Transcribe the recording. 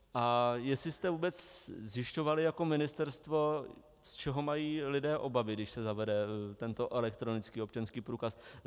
A jestli jste vůbec zjišťovali jako ministerstvo, z čeho mají lidé obavy, když se zavede tento elektronický občanský průkaz.